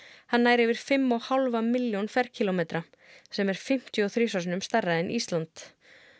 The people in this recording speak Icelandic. hann nær yfir fimm og hálfa milljón ferkílómetra sem er fimmtíu og þrisvar sinnum stærra en Ísland